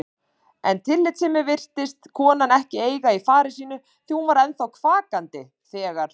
En tillitssemi virtist konan ekki eiga í fari sínu því hún var ennþá kvakandi þegar